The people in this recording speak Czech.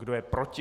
Kdo je proti?